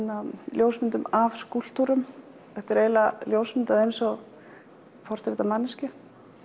ljósmyndum af skúlptúrum þetta er ljósmyndað eins og portrett af manneskju